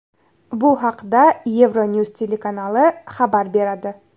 Bu haqda EuroNews telekanali xabar beradi.